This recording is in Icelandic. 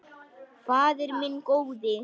Faðir minn góði.